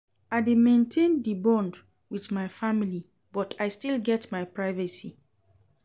I dey maintain di bond wit my family but I still get my privacy.